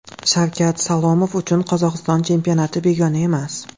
Shavkat Salomov uchun Qozog‘iston chempionati begona emas.